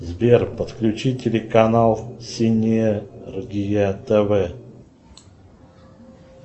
сбер подключи телеканал синергия тв